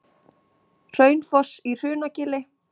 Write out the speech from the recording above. Hraunfoss í Hrunagili.